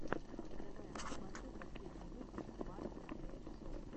давай я посмотрю последний выпуск марти эирсофт